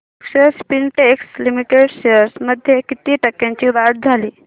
अक्षर Spintex limited shares मध्ये किती टक्क्यांची वाढ झाली